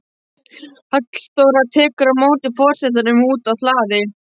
Halldóra tekur á móti forsetanum úti á hlaði.